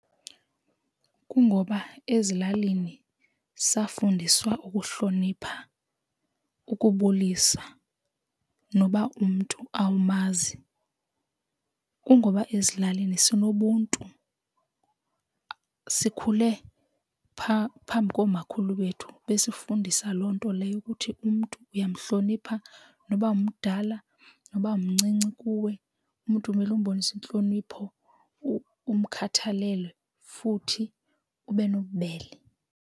Kungoba ezilalini safundiswa ukuhlonipha ukubulisa noba umntu awumazi. Kungoba ezilalini sinobuntu, sikhule phambi koomakhulu bethu besifundisa loo nto leyo ukuthi umntu uyamhlonipha, noba umdala noba mncinci kuwe umntu kumele umbonise intlonipho umkhathalele futhi ube nobubele.